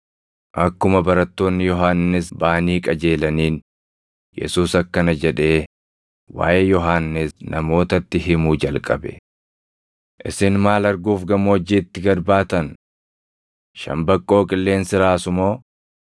Akkuma barattoonni Yohannis baʼanii qajeelaniin, Yesuus akkana jedhee waaʼee Yohannis namootatti himuu jalqabe; “Isin maal arguuf gammoojjiitti gad baatan? Shambaqqoo qilleensi raasu moo?